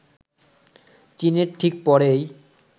চীনের ঠিক পরেই